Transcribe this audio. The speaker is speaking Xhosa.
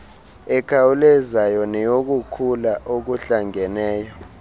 ekhawulezayo neyokukhula okuhlangeneyo